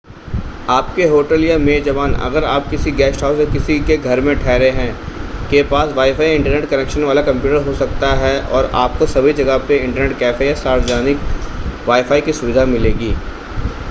आपके होटल या मेज़बान अगर आप किसी गेस्ट हाउस या किसी के घर में ठहरे हैं के पास वाईफ़ाई या इंटरनेट कनेक्शन वाला कंप्यूटर हो सकता है और आपको सभी जगहों पर इंटरनेट कैफ़े या सार्वजानिक वाईफ़ाई की सुविधा मिलेगी